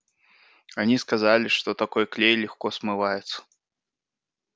они сказали что такой клей легко смывается